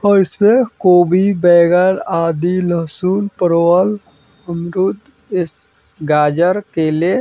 और इसमें कोबी बैगन आदि लहसुन परवल अमरुद इसस गाजर केले --